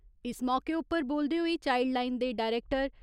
इस मौके उप्पर बोलदे होई चाइल्डलाईन दे डायरैक्टर